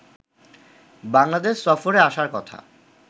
বাংলাদেশ সফরে আসার কথা